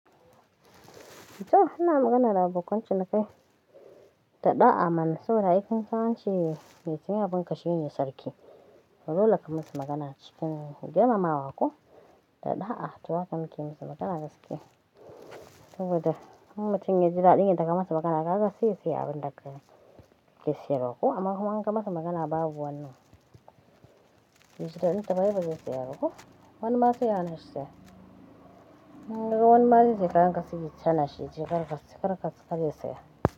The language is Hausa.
To, ana magana da abokan cinikayi, daɗa'a mana saboda aikin samanci ya tsaya abin kashe yin sarki. To dole ka musu magana cikin girmamawa ko daɗa'a, to wa kake musu magana gaskiya Tunda mun mutum ya jira ɗinki daga masu magana, haka sai ya se abin dakkai ya siyarwa ko amma kuma an kai masu magana babu wani. Baiji dadintaba aibazai siyaba ko Wani masu ya hana shi siya Mun ga wani masu shekarar ka suka yi tsana shi jiya, kar ka kar ka sake saya.